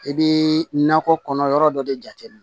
I bɛ nakɔ kɔnɔ yɔrɔ dɔ de jateminɛ